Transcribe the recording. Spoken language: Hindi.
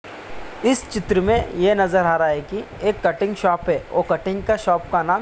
इस चित्र मे ये नजर आ रहा है की एक कटिंग शॉप है वो कटिंग शॉप का नाम--